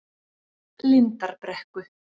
Lindarbrekku